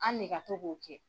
An ne ka to k'o kɛ.